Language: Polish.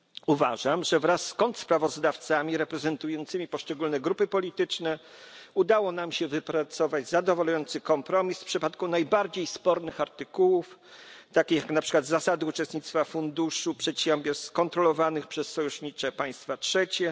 Uważam, że wraz z kontrsprawozdawcami reprezentującymi poszczególne grupy polityczne udało nam się wypracować zadowalający kompromis w przypadku najbardziej spornych artykułów takich jak zasady uczestnictwa w funduszu przedsiębiorstw kontrolowanych przez sojusznicze państwa trzecie.